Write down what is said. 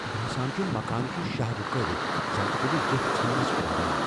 باسان چھُ مكانہٕ چھُ شاہ رُكٲوِتھ ، زن تہِ كُنہِ جیپھ ژھننس پراران ۔